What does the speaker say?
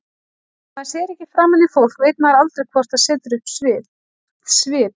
Þegar maður sér ekki framan í fólk veit maður aldrei hvort það setur upp svip.